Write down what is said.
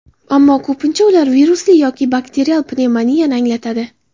Ammo ko‘pincha ular virusli yoki bakterial pnevmoniyani anglatadi.